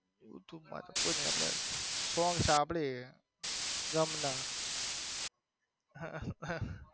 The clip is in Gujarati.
youtube માં તો કોઈ નઈ આપડે song સાંભળી ગમ ના.